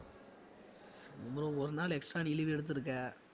ஒருநாள் extra நீ leave எடுத்திருக்க